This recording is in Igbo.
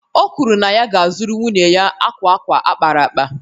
O kwuru na ya ga-azụrụ nwunye ya akwa akwa a kpara akpa